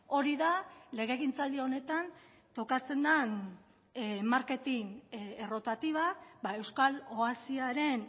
hori da legegintzaldi honetan tokatzen den marketin errotatiba euskal oasiaren